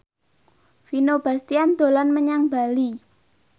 Vino Bastian dolan menyang Bali